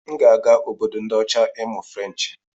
M ga-aga Obodo ndi ocha ịmụ Ferenchi.